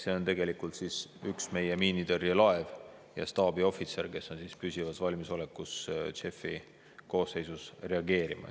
See on tegelikult üks meie miinitõrjelaev ja staabiohvitser, kes on püsivas valmisolekus JEF-i koosseisus reageerima.